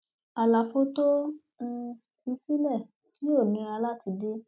àlàfo tó um fi sílẹ yóò nira láti dí